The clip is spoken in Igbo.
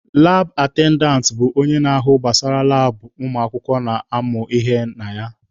Laab atendantị bụ onye na-ahụ gbasara labụ ụmụakwụkwọ na-amụ ihe na ya.